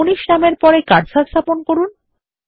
মানিশ নামের পরে কার্সার স্থাপন করুন